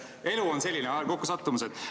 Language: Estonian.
Elu on selline, kokkusattumused.